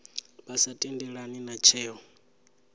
vha sa tendelani na tsheo